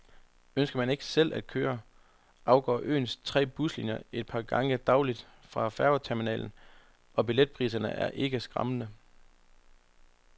Ønsker man ikke selv at køre, afgår øens tre buslinier et par gange daglig fra færgeterminalen, og billetpriserne er ikke skræmmende.